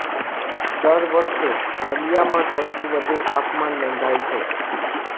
દર વર્ષે નલીયામાં સૌથી વધુ તાપમાન નોંધાય છે